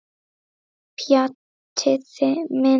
Pjatti minn.